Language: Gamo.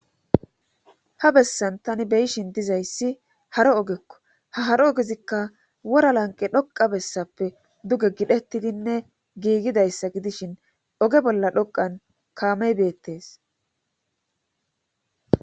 Ha bessan tani be'ishin dizayssi haro ogekko ha haro ogezikka wora lanqe dhoqa bessappe duge gidhettidinne giigidayssa gidishin oge bolla dhoqan kaamey beettees.